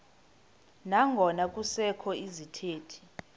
nangona kusekho izithethi